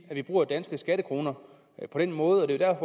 at vi bruger danske skattekroner på den måde og det er